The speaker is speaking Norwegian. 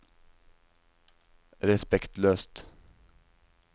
respektløst